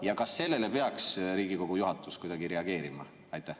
Ja kas sellele peaks Riigikogu juhatus kuidagi reageerima?